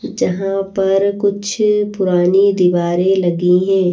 जहां पर कुछ पुरानी दीवारें लगी हैं ।